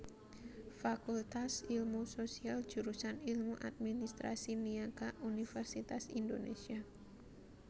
Fakultas Ilmu Sosial Jurusan Ilmu Administrasi Niaga Universitas Indonésia